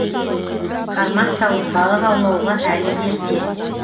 қармақ салып балық аулауға әлі ерте